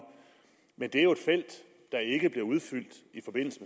men det er jo et felt der ikke bliver udfyldt i forbindelse